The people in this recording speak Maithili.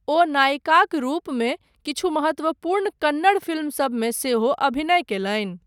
ओ नायिकाक रूपमे किछु महत्वपूर्ण कन्नड़ फिल्मसबमे सेहो अभिनय कयलनि।